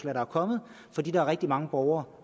er kommet fordi der er rigtig mange borgere